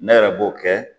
Ne yɛrɛ b'o kɛ